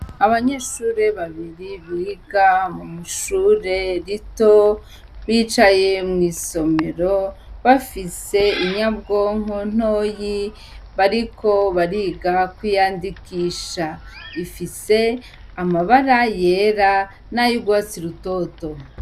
Abanyeshure babiri biga mu mushure rito bicaye mw'isomero bafise inyabwonko ntoyi bariko bariga kwiyandikisha ifise amabara yera n'ayougwatsi rutoto.